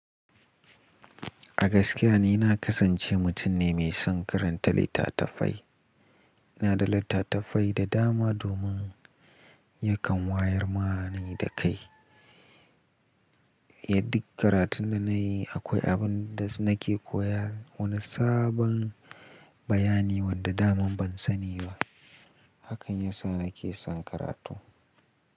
A gaskiya ni na kasance mutum ne mai son karanta littatafai. Ina da littattafai da dama domin yakan wayar mana da kai. Ya dik karatun da na yi akwai abin da nake koya wani sabon bayani wanda daman ban sani ba. Hakan yasa nake son karatu.